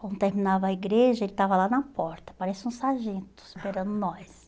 Quando terminava a igreja, ele estava lá na porta, parecia um sargento esperando nós.